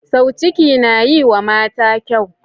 Sau ciki na yiwa mata kyau.